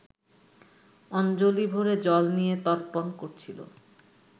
অঞ্জলি ভরে জল নিয়ে তর্পণ করছিলো